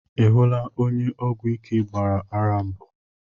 I hụla onye ọgwụ ike gbara ara mbụ?